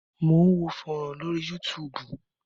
Mò ń wo fọ́rán lórí Yúutùùbù.